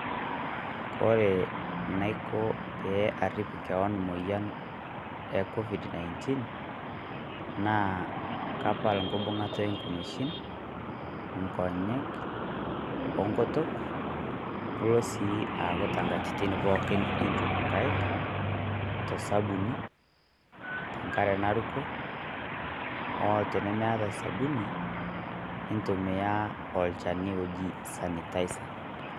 Kore naiko pee ariip kewon e moyian e Covid-19 ,naa kaapal nkibung'ata e nkumeshiin, nkonyek , o nkutuuk niloo sii aaku te nkatitin pooki iituuk enkaiik to sabuni te nkaare narukoo. O tinimieta sabuni nitumia olchani oji sanitizer.